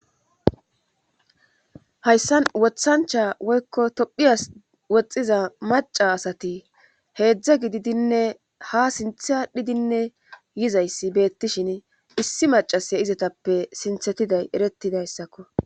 Hayssan wothancha woykko tophiyas woxxiza maca asati heedzdza gididinne ha sinthe adhidinne yizayssi beettishin issi macase izetappe sinthetiday erettidayssakko.